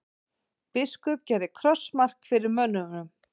Biskup gerði krossmark fyrir mönnunum.